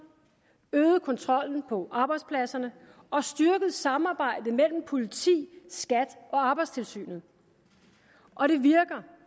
øget kontrollen på arbejdspladserne og styrket samarbejdet mellem politi skat og arbejdstilsynet og det virker